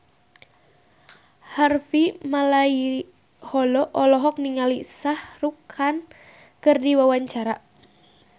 Harvey Malaiholo olohok ningali Shah Rukh Khan keur diwawancara